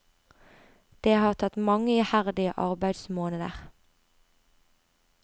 Det har tatt mange iherdige arbeidsmåneder.